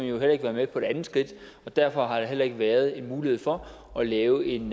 jo heller ikke være med på det andet skridt derfor har der heller ikke været en mulighed for at lave en